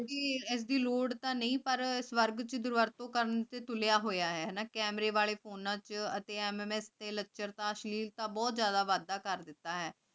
ਤੇ ਏਸ ਦੀ ਲੋਰ ਤ੍ਯ ਨਾਈ ਪਰ ਤੇ ਤੁਲ੍ਯ ਹੋਯਾ ਆਯ ਹੈਨਾ camera ਫੋਨਾਂ ਚ ਅਤੀ mms ਤੇ ਲਚਰਤਾ ਅਸ਼੍ਲੇਲਤਾ ਦਾ ਬੋਹਤ ਜਿਆਦਾ ਵਾਦਾ ਕਰਤਾ ਹੈ